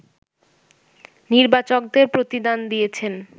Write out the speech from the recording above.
নির্বাচকদের প্রতিদান দিয়েছেন